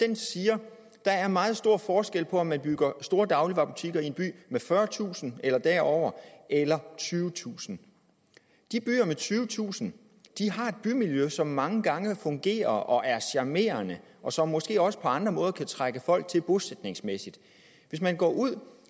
den siger at der er meget stor forskel på om man bygger store dagligvarebutikker i en by med fyrretusind eller derover eller tyvetusind de byer med tyvetusind har et bymiljø som mange gange fungerer og er charmerende og som måske også på andre måder kan trække folk til bosætningsmæssigt hvis man går ud